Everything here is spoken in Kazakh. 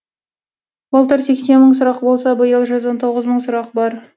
былтыр сексен мың сұрақ болса биыл жүз он тоғыз мың сұрақ бар